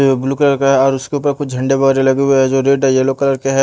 यो blue colour का है और उसके ऊपर कुछ झण्डे वगैरह लगे हुए हैं जो रेड है येलो कलर के है।